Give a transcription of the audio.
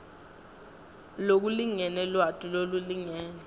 lokulingene lwati lolulingene